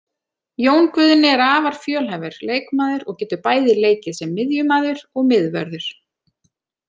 Jón Guðni er afar fjölhæfur leikmaður og getur bæði leikið sem miðjumaður og miðvörður.